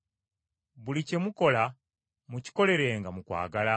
Buli kye mukola mukikolerenga mu kwagala.